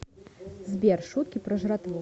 сбер шутки про жратву